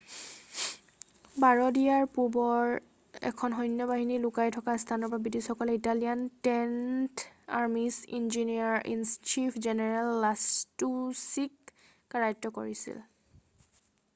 বাৰদিয়াৰ পূবৰ এখন সৈন্যবাহিনী লুৃকাই থকা স্থানৰ পৰা বৃটিছসকলে Italian tenth army's engineer in chief general লাছটুছিক কাৰায়ত্ত কৰিছিল